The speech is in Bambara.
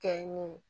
Kɛ n ye